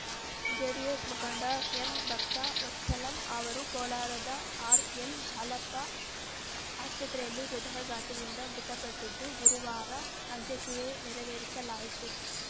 JDS ಮುಖಂಡ ಎಂಭಕ್ತವತ್ಸಲಂ ಅವರು ಕೋಲಾರದ ಆರ್‌ಎಲ್‌ಜಾಲಪ್ಪ ಆಸ್ಪತ್ರೆಯಲ್ಲಿ ಹೃದಯಾಘಾತದಿಂದ ಮೃತಪಟ್ಟಿದ್ದು ಗುರುವಾರ ಅಂತ್ಯಕ್ರಿಯೆ ನೆರವೇರಿಸಲಾಯಿತು